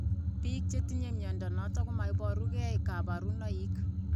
Biik chetinye mnyondo noton komoboru gee kabarunaik